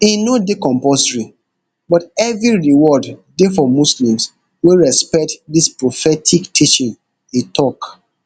e no dey compulsory but heavy reward dey for muslims wey respect dis prophetic teaching e tok